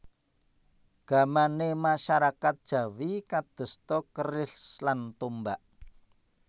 Gamané masyarakat Jawi kadosta keris lan tombak